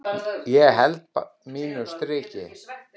Ég bara held mínu striki.